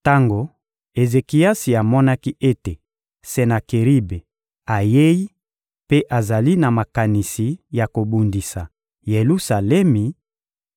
Tango Ezekiasi amonaki ete Senakeribe ayei mpe azali na makanisi ya kobundisa Yelusalemi,